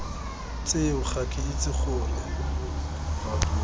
tseo ga ke itse gore